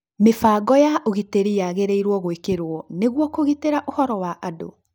Mĩbango ya ũgitĩri yagĩrĩirũo gũĩkĩrwo nĩguo kũgitĩra ũhoro wa andũ.